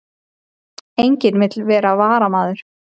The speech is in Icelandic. Enginn vill vera varamaður